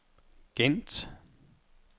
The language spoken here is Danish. Gent